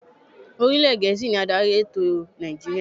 Orílè Gẹ̀ẹ́sì ni adarí elétò Nàìjíríà.